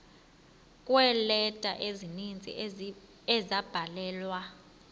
kweeleta ezininzi ezabhalelwa